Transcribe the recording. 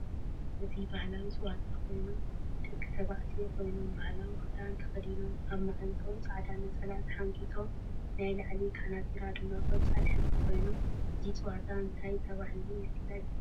እዚ ባህላዊ ፀወታ ኮይኑ ደቂ ተባዕትዮ ኮይኖም ባህላዊ ክዳን ተከዲኖም እብ ማዓንጠእም ፃዕዳ ነፀላ ተሓንግጦም ናይ ላዒሊ ካናቲራ ድማ ቆፃል ሕብሪ ኮይኑ እዚ ፀወታ አንታይ ተባህሉ ይፊለጥ?